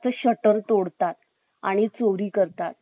आणि चोरी करतात जर दुकानाच्या बाहेर जर